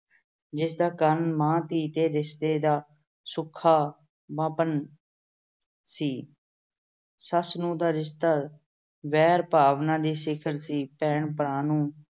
ਜਿਸ ਦਾ ਕਾਰਨ ਮਾਂ-ਧੀ ਤੇ ਰਿਸ਼ਤੇ ਦਾ ਸੁਖਾਵਾਂਪਣ ਸੀ। ਸੱਸ-ਨੂੰਹ ਦਾ ਰਿਸ਼ਤਾ ਵੈਰ ਭਾਵਨਾ ਦੀ ਸਿਖਰ ਸੀ। ਭੈਣ ਭਰਾ ਨੂੰ